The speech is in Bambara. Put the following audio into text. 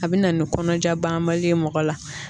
A bɛ na ni kɔnɔnajabanali mɔgɔ la